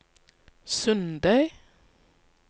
Sundøy